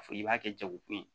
A fɔ i b'a kɛ jago kun ye